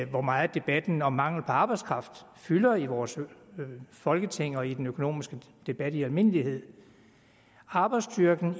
hvor meget debatten om mangelen på arbejdskraft fylder i vores folketing og i den økonomiske debat i almindelighed arbejdsstyrken